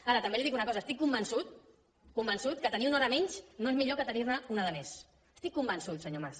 ara també li dic una cos estic convençut convençut que tenir una hora menys no és millor que tenir ne una de més n’estic convençut senyor mas